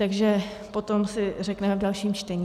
Takže potom si řekneme v dalším čtení.